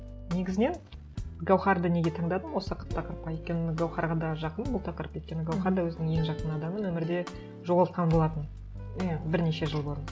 негізінен гауһарды неге таңдадым осы тақырыпқа өйткені гауһарға да жақын бұл тақырып өйткені гауһар да өзінің ең жақын адамын өмірде жоғалтқан болатын иә бірнеше жыл бұрын